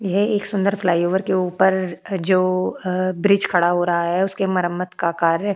ये एक सुंदर फ्लाईओवर के ऊपर जो अ ब्रिज खड़ा हो रहा है उसकी मरम्मत का कार्य --